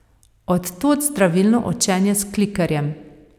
Od tod zdravilno učenje s klikerjem.